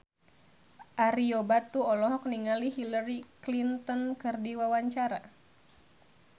Ario Batu olohok ningali Hillary Clinton keur diwawancara